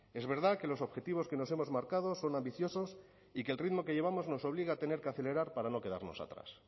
es verdad que los objetivos que nos hemos marcado son ambiciosos y que el ritmo que llevamos nos obliga a tener que acelerar para no quedarnos atrás